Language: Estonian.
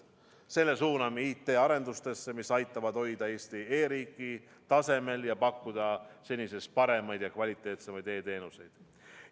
Selle suuname IT-arendustesse, mis aitavad hoida Eesti e-riiki tasemel ja pakkuda senisest paremaid ja kvaliteetsemaid e-teenuseid.